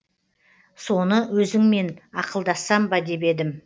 соны өзіңмен ақылдассам ба деп едім